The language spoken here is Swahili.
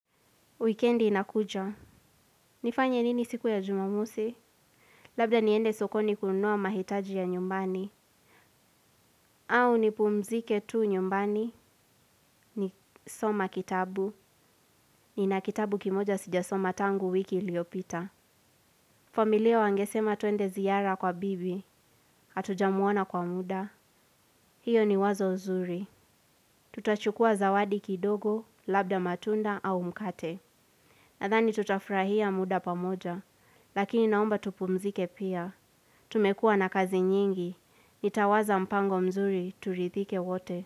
Wikendi inakuja. Nifanye nini siku ya jumamosi? Labda niende sokoni kununua mahitaji ya nyumbani. Au nipumzike tu nyumbani nisome kitabu nina kitabu kimoja sijasoma tangu wiki iliopita. Familia wangesema twende ziara kwa bibi. Hatujamuona kwa muda. Hio ni wazo zuri. Tutachukua zawadi kidogo labda matunda au mkate. Nadhani tutafurahia muda pamoja, lakini naomba tupumzike pia. Tumekuwa na kazi nyingi, nitawaza mpango mzuri turidhike wote.